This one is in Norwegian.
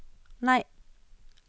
nei